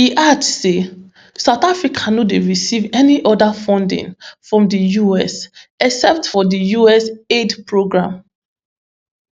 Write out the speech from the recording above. e add say south africa no dey receive any oda funding from di us except for di us aid programme